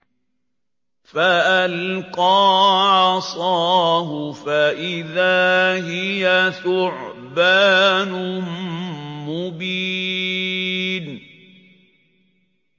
فَأَلْقَىٰ عَصَاهُ فَإِذَا هِيَ ثُعْبَانٌ مُّبِينٌ